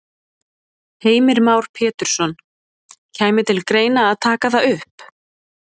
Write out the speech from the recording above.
Heimir Már Pétursson: Kæmi til greina að taka það upp?